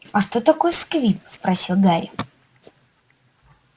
а что такое сквиб спросил гарри